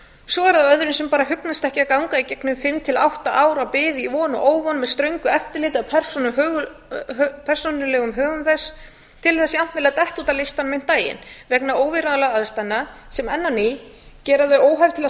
svo er það öðrum sem hugnast ekki að ganga í gegnum fimm til átta ára bið í von og óvon með ströngu eftirliti af persónulegum högum þess til þess jafnvel að detta út af listanum um daginn vegna óviðráðanlegra aðstæðna sem enn á ný gera þau hef til að